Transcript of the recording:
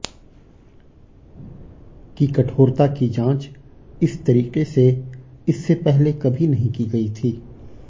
की कठोरता की जांच इस तरीके से इससे पहले कभी नहीं की गयी थी